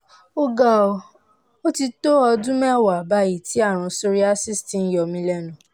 ọ̀gá ó ti tó ọdún mẹ́wàá báyìí tí ààrùn psoriasis ti ń yọ mí lẹ́nu